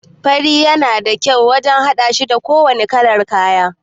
Fari yana da kyau wajan haɗashi da kowanne kalar kaya